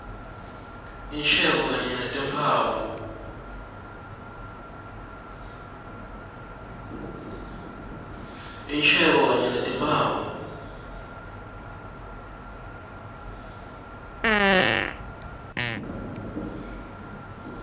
insheko kanye netimphawu